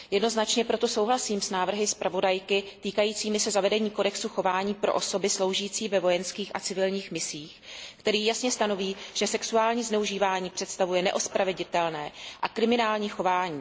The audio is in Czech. Jednoznačně proto souhlasím s návrhy zpravodajky týkajícími se zavedení kodexu chování pro osoby sloužící ve vojenských a civilních misích, který jasně stanoví, že sexuální zneužívání představuje neospraveditelné a kriminální chování.